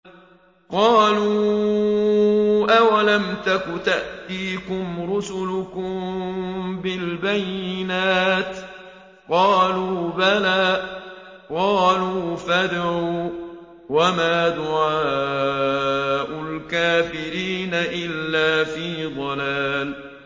قَالُوا أَوَلَمْ تَكُ تَأْتِيكُمْ رُسُلُكُم بِالْبَيِّنَاتِ ۖ قَالُوا بَلَىٰ ۚ قَالُوا فَادْعُوا ۗ وَمَا دُعَاءُ الْكَافِرِينَ إِلَّا فِي ضَلَالٍ